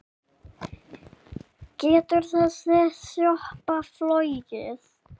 Getur þessi sjoppa flogið?